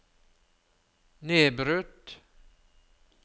nedbrutt